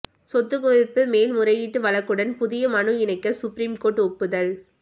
சொத்துக் குவிப்பு மேல்முறையீட்டு வழக்குடன் புதிய மனு இணைக்க சுப்ரீம் கோர்ட் ஒப்புதல்